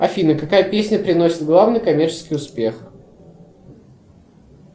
афина какая песня приносит главный коммерческий успех